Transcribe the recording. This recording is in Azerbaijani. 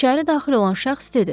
İçəri daxil olan şəxs dedi.